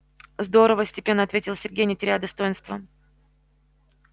здорово степенно ответил сергей не теряя достоинства